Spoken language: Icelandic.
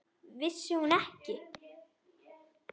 Vissi hún ekki?